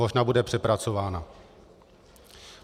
Možná bude přepracována.